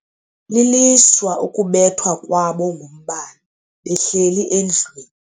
lilishwa ukubethwa kwabo ngumbane behleli endlwini.